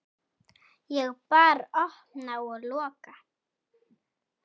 Ég bara opna og loka.